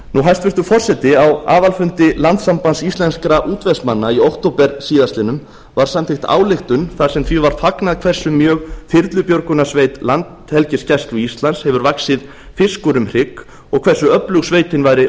hæstvirtur forseti á aðalfundi landssambands íslenskra útvegsmanna í október síðastliðinn var samþykkt ályktun þar sem því var fagnað hversu mjög þyrlubjörgunarsveit landhelgisgæslu íslands hefur vaxið fiskur um hrygg og hversu öflug sveitin væri